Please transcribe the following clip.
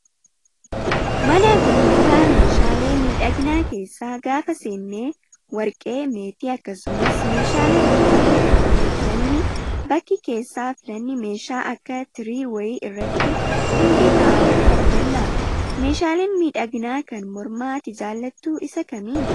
Mana gurgurtaa meeshaalee miidhaginaa keessa gaafa seennee warqee, meetii akkasumas meeshaalee barbaadnu kamiyyuu filanni bakki keessaa filanni meeshaa akka tirii wayii irratti hundiyy kaa'amanii arganna. Meeshaan miidhaginaa kan mormaa ati jaallattu isa kamii?